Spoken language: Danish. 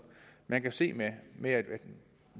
man kan se med at vi